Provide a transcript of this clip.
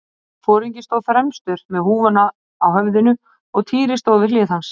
Foringinn stóð fremstur með húfuna á höfðinu og Týri stóð við hlið hans.